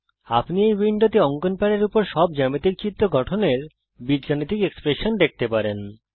আপনি এই উইন্ডোতে অঙ্কন প্যাডের উপর সব জ্যামিতিক চিত্র গঠনের বীজগাণিতিক এক্সপ্রেশন দেখতে পারেন